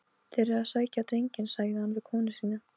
Þeir eru að sækja drenginn, sagði hann við konu sína.